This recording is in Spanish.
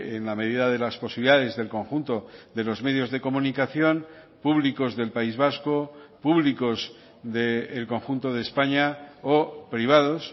en la medida de las posibilidades del conjunto de los medios de comunicación públicos del país vasco públicos del conjunto de españa o privados